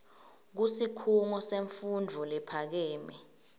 kusikhungo semfundvo lephakeme